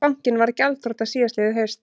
Bankinn varð gjaldþrota síðastliðið haust